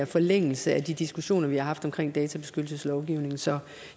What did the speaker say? forlængelse af de diskussioner vi har haft omkring databeskyttelseslovgivningen så